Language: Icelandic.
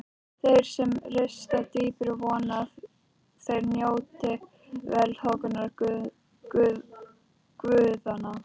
Þeir sem rista dýpra vona að þeir njóti velþóknunar guðanna.